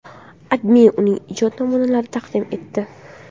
AdMe uning ijod naminalarini taqdim etdi .